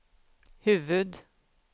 huvud